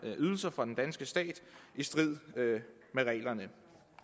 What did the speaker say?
ydelser fra den danske stat i strid med reglerne